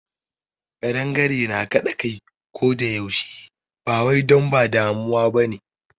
Ƙadangare na kaɗa kai ko da yaushe ba wai don ba damuwa ba ne.